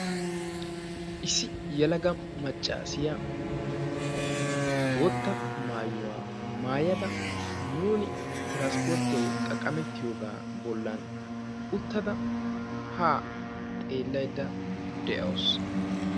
issi yelaga macaassiya bootta mayuwa mayada nuunio tiranspporttiyawu xaqqamettiyoogaa bolan uttada haa xeelaydda de'awusu.